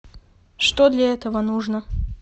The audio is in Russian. что для этого нужно